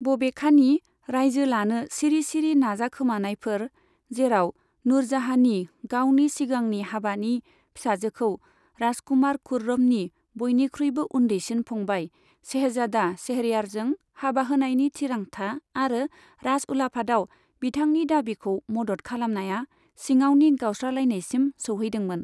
बबेखानि, रायजो लानो सिरि सिरि नाजाखोमानायफोर, जेराव नूरजहानि गावनि सिगांनि हाबानि फिसाजोखौ राजकुमार खुर्रमनि बयनिख्रुयबो उन्दैसिन फंबाय शहजादा शहरयारजों हाबा होनायनि थिरांथा आरो राजउलाफादाव बिथांनि दाबिखौ मदद खालामनाया सिङावनि गावस्रालायनायसिम सौहैदोंमोन।